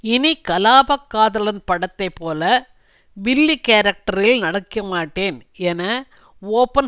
இனி கலாபக் காதலன் படத்தை போல வில்லி கேரக்டரில் நடிக்கமாட்டேன் என ஓபன்